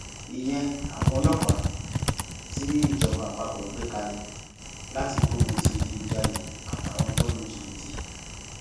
ìyẹn àwọn ọlọpàá tí ìjọba àpapọ gbé kalẹ láti gbógun ti ìdígunjalè àtàwọn tó ń lu jìbìtì